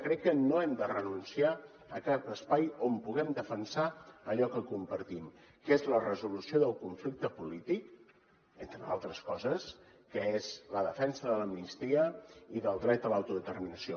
crec que no hem de renunciar a cap espai on puguem defensar allò que compartim que és la resolució del conflicte polític entre altres coses que és la defensa de l’amnistia i del dret a l’autodeterminació